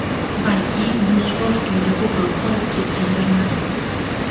Balki, bu sport turida ko‘proq qolib ketgandirman.